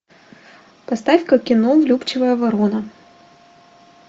поставь ка кино влюбчивая ворона